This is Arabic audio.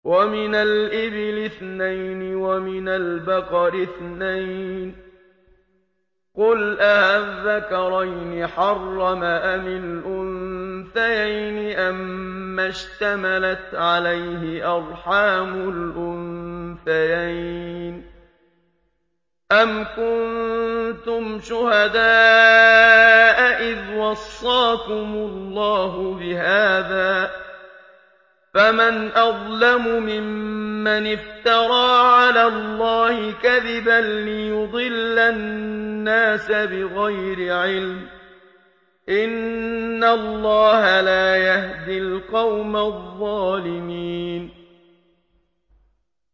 وَمِنَ الْإِبِلِ اثْنَيْنِ وَمِنَ الْبَقَرِ اثْنَيْنِ ۗ قُلْ آلذَّكَرَيْنِ حَرَّمَ أَمِ الْأُنثَيَيْنِ أَمَّا اشْتَمَلَتْ عَلَيْهِ أَرْحَامُ الْأُنثَيَيْنِ ۖ أَمْ كُنتُمْ شُهَدَاءَ إِذْ وَصَّاكُمُ اللَّهُ بِهَٰذَا ۚ فَمَنْ أَظْلَمُ مِمَّنِ افْتَرَىٰ عَلَى اللَّهِ كَذِبًا لِّيُضِلَّ النَّاسَ بِغَيْرِ عِلْمٍ ۗ إِنَّ اللَّهَ لَا يَهْدِي الْقَوْمَ الظَّالِمِينَ